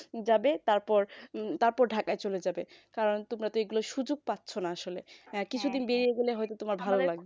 যাবে তারপর চলে যাবে কারণ তোমরা তো এইগুলো সুযোগ পাচ্ছ না আসলে কিছুদিন বেড়িয়ে গেলে তোমার হয়ত ভালো লাগবে